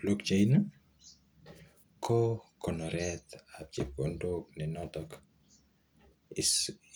Blochaini ko konoretab chepkondok NE noton